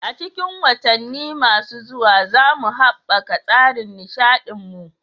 A cikin watanni masu zuwa, za mu haɓaka tsarin nishaɗin mu.